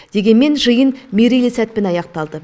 дегенмен жиын мерейлі сәтпен аяқталды